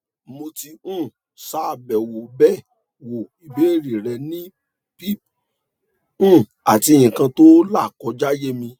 mo ti um sa be wo be wo ibeere re ni pip um ati ikan to la koja ye mi